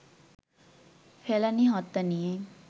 ফেলানী হত্যা নিয়ে